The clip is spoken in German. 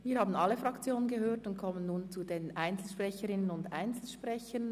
Wir haben alle Fraktionen gehört und kommen nun zu den Einzelsprecherinnen und Einzelsprechern.